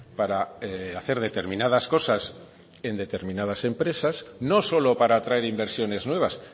para hacer determinadas cosas en determinadas empresas no solo para atraer inversiones nuevas